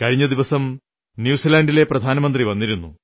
കഴിഞ്ഞ ദിവസം ന്യൂസിലാൻഡിലെ പ്രധാനമന്ത്രി വന്നിരുന്നു